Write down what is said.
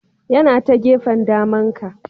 Yana ta gefen daman ka.